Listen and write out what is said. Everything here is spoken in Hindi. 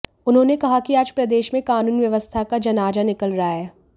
उन्होंने कहा कि आज प्रदेश में कानून व्यवस्था का जनाजा निकल रहा है